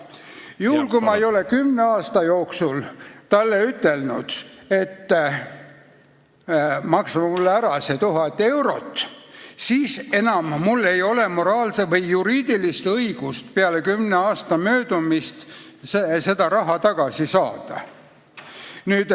Juhul kui ma ei ole kümne aasta jooksul talle ütelnud, et maksa mulle ära see 1000 eurot, siis enam mul ei ole juriidilist õigust seda raha tagasi saada.